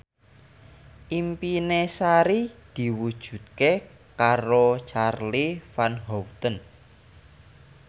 impine Sari diwujudke karo Charly Van Houten